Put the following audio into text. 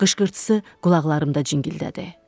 Qışqırtısı qulaqlarımda cingildədi.